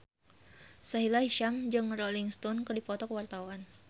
Sahila Hisyam jeung Rolling Stone keur dipoto ku wartawan